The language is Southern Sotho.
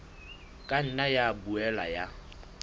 ka nna ya boela ya